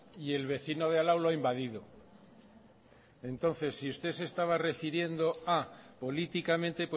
y el vecino de al lado lo ha invadido entonces si usted se estaba refiriendo a políticamente